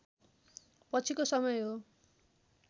पछिको समय हो